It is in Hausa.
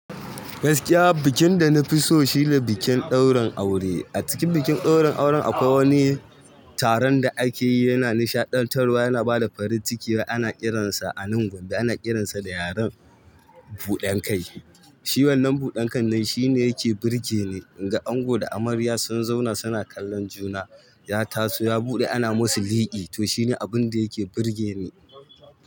Gaskiya bikin da na fi so shi ne bikin ɗaurin aure. A cikin bikin ɗaurin auren akwai wani taron da ake yi yana nishaɗantarwa, yana bada farin ciki ana kiransa a nan Gombe ana kiran sa da yaren buɗan kai. Shi wannan buɗan kan nan shi ne ya ke burge ni, in ga ango da amarya sun zauna su na kallon juna, ya taso ya buɗe ana musu liƙi, to shi ne abun da ya ke burge ni.